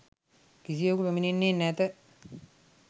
කිසිවෙකු පැමිණෙන්නේ නැත.